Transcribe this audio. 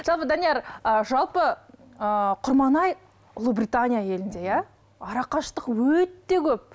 жалпы данияр жалпы ы құрманай ұлыбритания елінде иә арақашықтық өте көп